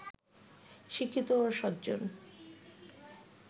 শিক্ষিত ও সজ্জন